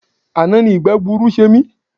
Àná ni ìgbẹ́gbuuru ṣe mí.